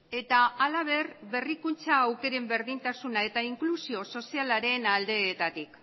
eta halaber berrikuntza aukeren berdintasuna eta inklusio sozialaren aldeetatik